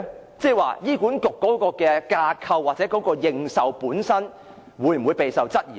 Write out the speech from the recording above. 意思是，醫管局的架構或認受性會否備受質疑呢？